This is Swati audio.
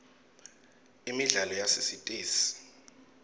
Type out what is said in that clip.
imidlalo yasesitesi